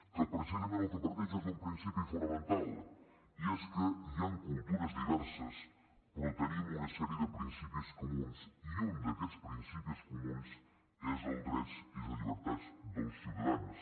que precisament del que parteix és d’un principi fonamental i és que hi han cultures diverses però tenim una sèrie de principis comuns i un d’aquests principis comuns són els drets i les llibertats dels ciutadans